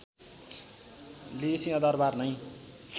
लिई सिंहदरवार नै